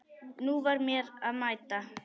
Nú var mér að mæta!